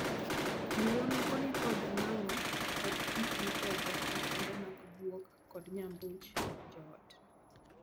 Anyuola moko ni kod ng'ango kod gik mipedho makende mag guok kod nyambuch joot.